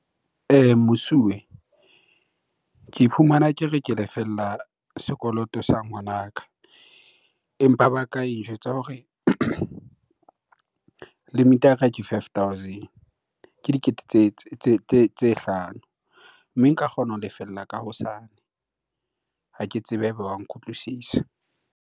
Mosuwe, ke fumana ke re ke lefella sekoloto sa ngwanaka. Empa banka e njwetsa hore limit-e ya ka ke five thousand, ke dikete tse hlano. Mme nka kgona ho lefella ka hosane. Ha ke tsebe ha eba wa nkutlwisisa.